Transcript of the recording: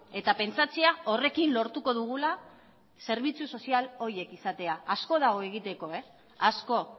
eta pentsatzea horrekin lortuko dugula zerbitzu sozial horiek izatea asko dago egiteko asko